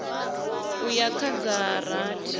u ya kha dza rathi